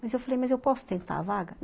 Mas eu falei, mas eu posso tentar a vaga?